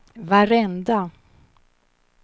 varenda